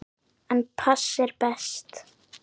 En pass er best.